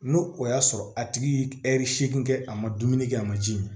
N'o o y'a sɔrɔ a tigi ye seegin kɛ a ma dumuni kɛ a ma ji min